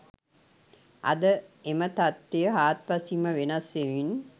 අද එම තත්වය හාත්පසින් ම වෙනස් වෙමින්